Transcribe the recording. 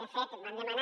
de fet vam demanar